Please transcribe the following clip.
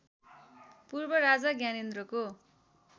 पूर्व राजा ज्ञानेन्द्रको